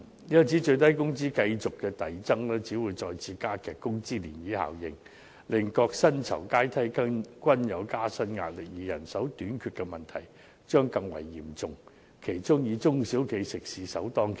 因此，最低工資繼續遞增只會再次加劇工資漣漪效應，令各薪酬階梯均有加薪壓力，而人手短缺的問題將更為嚴重，其中以中小型食肆首當其衝。